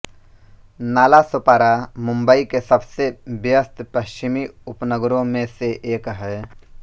नालासोपारा मुंबई के सबसे ब्यस्त पश्चिमी उपनगरों में से एक है